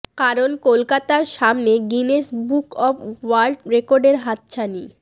কারণ কলকাতার সামনে গিনেস বুক অব ওয়ার্ল্ড রেকর্ডের হাতছানি